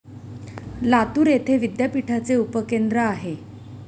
लातूर येथे विद्यापीठाचे उपकेंद्र आहे.